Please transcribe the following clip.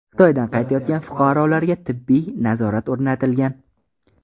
Xitoydan qaytayotgan fuqarolarga tibbiy nazorat o‘rnatilgan.